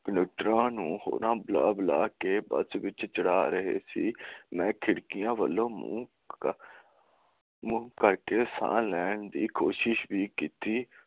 ਲੀਡਰਾਂ ਨੂੰ ਹਹੋਰ ਬੁਲਾ ਬੁਲਾ ਕੇ ਬੱਸ ਵਿਚ ਚੜਾ ਰਹੇ ਸੀ ਮੈਂ ਖਿੜਕੀਆਂ ਵੱਲ ਮੂੰਹ ਕਰਕੇ ਸਾਹ ਲੈਣ ਦੀ ਕੋਸ਼ਿਸ ਵੀ ਕਿੱਤੀ